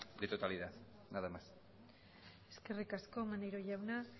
de totalidad nada más eskerrik asko maneiro jauna